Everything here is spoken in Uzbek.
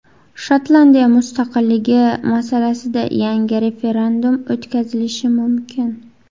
Shotlandiya mustaqilligi masalasida yangi referendum o‘tkazilishi mumkin.